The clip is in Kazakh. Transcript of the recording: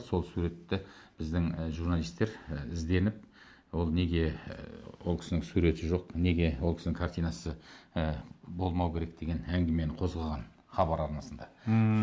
сол суретті біздің і журналистер і ізденіп ол неге ы ол кісінің суреті жоқ неге ол кісінің картинасы ы болмау керек деген әңгімені қозғаған хабар арнасында ммм